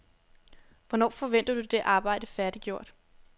Hvornår forventer du det arbejde færdiggjort?